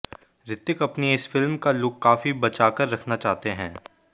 ऋतिक अपनी इस फिल्म का लुक काफी बचाकर रखना चाहते हैं